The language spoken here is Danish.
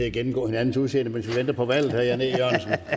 at gennemgå hinandens udseende mens vi venter på valget